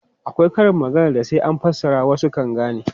Akwai karin maganar da sai an fassara wasu kan gane.